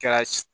Kɛra si